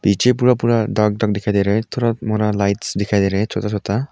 पीछे पूरा पूरा दाग दाग दिखाई दे रहा है थोड़ा मोड़ा लाइट्स दिखाई दे रहा है छोटा छोटा--